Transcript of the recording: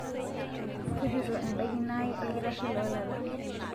tujuto embaikino aai olkitarri loo lala